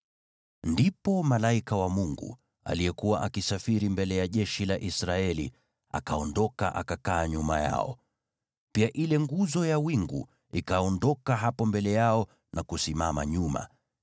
Ndipo malaika wa Mungu, aliyekuwa akisafiri mbele ya jeshi la Israeli, akaondoka akakaa nyuma yao. Pia ile nguzo ya wingu ikaondoka hapo mbele yao na kusimama nyuma,